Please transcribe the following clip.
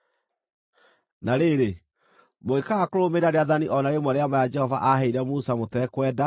“ ‘Na rĩrĩ, mũngĩkaaga kũrũmĩrĩra rĩathani o na rĩmwe rĩa maya Jehova aaheire Musa mũtekwenda-rĩ,